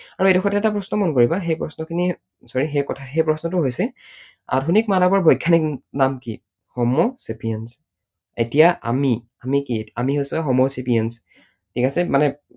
আৰু এইডোখৰতে এটা প্ৰশ্ন মন কৰিবা সেই প্ৰশ্নখিনি sorry সেই প্ৰশ্নটো হৈছে আধুনিক মানৱৰ বৈজ্ঞানিক নাম কি? homo sapiens । এতিয়া আমি কি? আমি হৈছো homo sapiens, ঠিক আছে? মানে